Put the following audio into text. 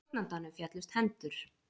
Stjórnandanum féllust hendur.